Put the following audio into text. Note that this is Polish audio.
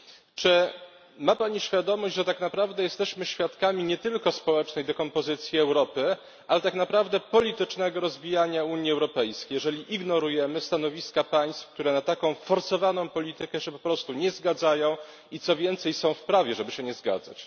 Czy ma pani świadomość, że tak naprawdę jesteśmy świadkami nie tylko społecznej dekompozycji Europy, ale tak naprawdę politycznego rozbijania Unii Europejskiej, jeżeli ignorujemy stanowiska państw, które na taką forsowaną politykę się po prostu nie zgadzają, i co więcej, są w prawie, żeby się nie zgadzać.